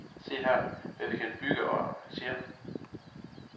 Se her, hvad vi kan bygge og arrangere.